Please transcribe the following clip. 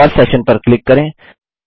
pause session पर click करें